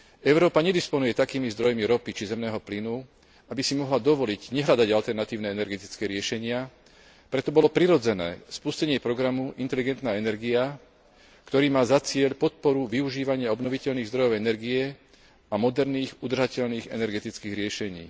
Európa nedisponuje takými zdrojmi ropy, či zemného plynu, aby si mohla dovoliť nehľadať alternatívne energetické riešenia, preto bolo prirodzené spustenie programu inteligentná energia, ktorý má za cieľ podporu využívania obnoviteľných zdrojov energie a moderných udržateľných energetických riešení.